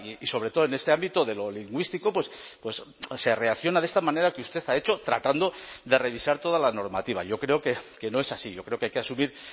y sobre todo en este ámbito de lo lingüístico se reacciona de esta manera que usted ha hecho tratando de revisar toda la normativa yo creo que no es así yo creo que hay que asumir